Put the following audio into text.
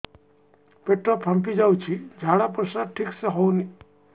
ପେଟ ଫାମ୍ପି ଯାଉଛି ଝାଡ଼ା ପରିସ୍ରା ଠିକ ସେ ହଉନି